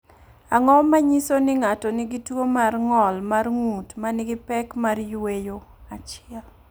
Ang’o ma nyiso ni ng’ato nigi tuwo mar ng’ol mar ng’ut ma nigi pek mar yweyo 1?